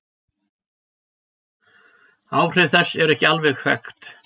Áhrif þess eru ekki alveg þekkt.